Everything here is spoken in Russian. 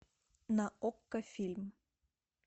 на окко фильм